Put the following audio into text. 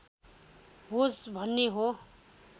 होस् भन्ने हो